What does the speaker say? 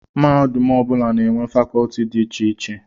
Mahadum ọ bụla na-enwe fakọlti dị iche iche